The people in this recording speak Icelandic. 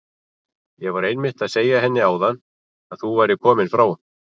Ég var einmitt að segja henni áðan að þú værir kominn frá